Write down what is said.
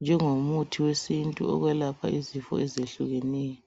njengomuthi wesintu ukwelapha izifo ezehlukeneyo.